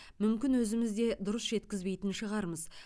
мүмкін өзіміз де дұрыс жеткізбейтін шығармыз